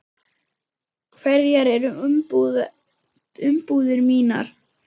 Hverjar eru umbúðir mínar?